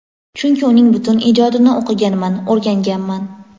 chunki uning butun ijodini o‘qiganman, o‘rganganman.